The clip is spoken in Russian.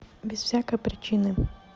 без всякой причины